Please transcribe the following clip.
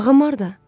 Ağam harda?